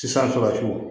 Sisan tuguni